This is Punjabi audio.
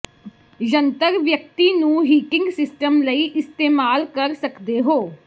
ਜੰਤਰ ਵਿਅਕਤੀ ਨੂੰ ਹੀਟਿੰਗ ਸਿਸਟਮ ਲਈ ਇਸਤੇਮਾਲ ਕਰ ਸਕਦੇ ਹੋ